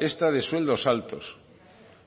esta de sueldos altos